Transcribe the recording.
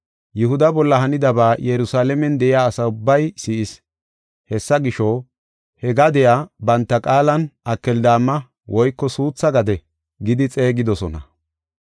Yihuda bolla hanidaba Yerusalaamen de7iya asa ubbay si7is. Hessa gisho, he gadiya banta qaalan Akeldaama (Suutha gade) gidi xeegidosona.